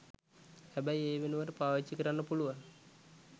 හැබැයි ඒ වෙනුවට පාවිච්චි කරන්න පුළුවන්